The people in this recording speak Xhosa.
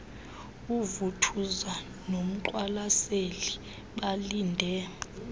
uvuthuza nomqwalaseli balinde